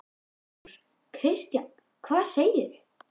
Magnús: Kristján, hvað segir þú?